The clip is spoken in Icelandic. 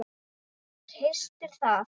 Hristir það.